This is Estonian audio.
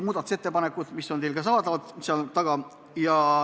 Muudatusettepanekud on ka seal taga saadaval.